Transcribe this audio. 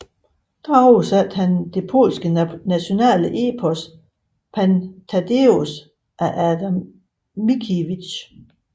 Der oversatte han det polske nationale epos Pan Tadeusz af Adam Mickiewicz